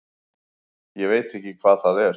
Ég veit ekki hvað það er.